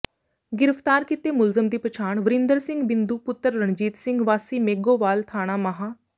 ਗਿ੍ਫ਼ਤਾਰ ਕੀਤੇ ਮੁਲਜ਼ਮ ਦੀ ਪਛਾਣ ਵਰਿੰਦਰ ਸਿੰਘ ਬਿੰਦੂ ਪੁੱਤਰ ਰਣਜੀਤ ਸਿੰਘ ਵਾਸੀ ਮੇਘੋਵਾਲ ਥਾਣਾ ਮਾਹ